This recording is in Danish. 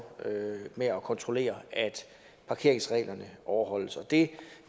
med at kontrollere at parkeringsreglerne overholdes det